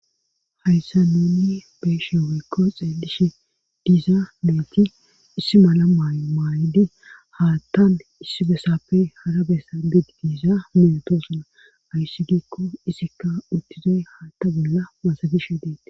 Hayssa nunni beeshe woykko xeelishe diizaa meeti issi mala maymaaydi haattan issi besapfe hara bessa biid giisa minotosuna ayssi giikko isikka uttizey haatta bolla masabishe deete.